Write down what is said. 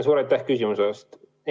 Suur aitäh küsimuse eest!